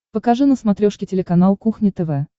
покажи на смотрешке телеканал кухня тв